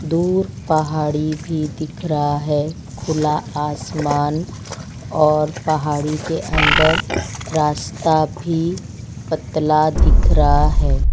दूर पहाड़ी भी दिख रहा है खुला आसमान और पहाड़ी के अंदर रास्ता भी पतला दिख रहा हैं।